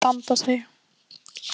Nú þyrfti hún að standa sig.